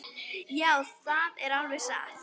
Já, það er alveg satt.